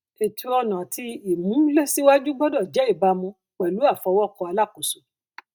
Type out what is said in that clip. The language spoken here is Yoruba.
ètò ọnà àti ìmúlèsíwájú gbọdọ jẹ ìbámu pẹlú àfọwọkọ alákòóso